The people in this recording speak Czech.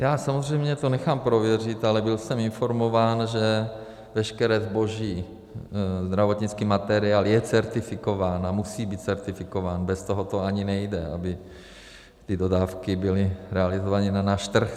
Já samozřejmě to nechám prověřit, ale byl jsem informován, že veškeré zboží, zdravotnický materiál je certifikován a musí být certifikován, bez toho to ani nejde, aby ty dodávky byly realizovány na náš trh.